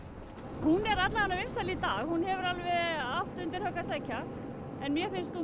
hún er allavega vinsæl í dag hefur alveg átt undir högg að sækja mér finnst hún